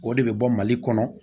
O de bɛ bɔ mali kɔnɔ